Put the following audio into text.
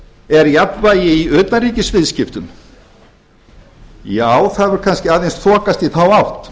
er jafnvægi í utanríkisviðskiptum já það hefur kannski aðeins þokast í þá átt